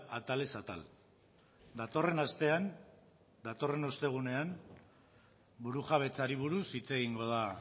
atalez atal datorren astean datorren ostegunean burujabetzari buruz hitz egingo da